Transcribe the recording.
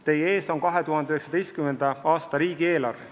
Teie ees on 2019. aasta riigieelarve.